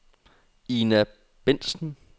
Ina Bentsen